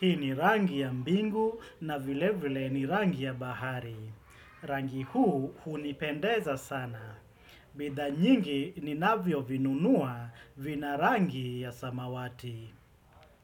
Hii ni rangi ya mbingu na vile vile ni rangi ya bahari. Rangi huu hunipendeza sana. Bidhaa nyingi ninavyovinunua vina rangi ya samawati.